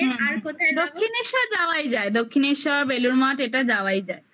হুম হুম দক্ষিনেশ্বর যাওয়াই যায় দক্ষিনেশ্বর বেলুড় মঠ এটা যাওয়াই যায়